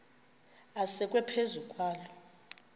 asekwe phezu kwaloo